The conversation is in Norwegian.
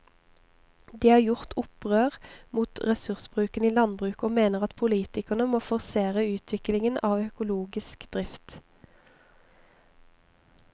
De har gjort opprør mot ressursbruken i landbruket og mener at politikerne må forsere utviklingen av økologisk drift.